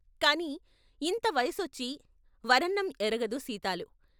కాని ఇంత వయసొచ్చి వరన్నం ఎరగదు సీతాలు....